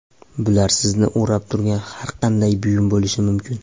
Bular sizni o‘rab turgan har qanday buyum bo‘lishi mumkin.